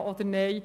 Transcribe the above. Ja oder Nein?